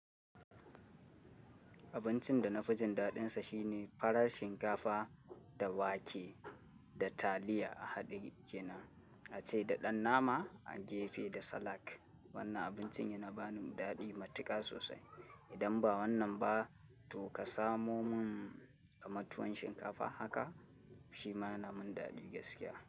Abincin da na fi jin daɗin sa shine, farar shinkafa da wake da taliya a haɗe kenan, a ce da ɗan nama a gefe da salak. Wannan abincin yana bani daɗi matuƙa sosai. Idan ba wannan ba, to ka samo mun kamar tuwon shinkafa haka shi ma yana min daɗi gaskiya.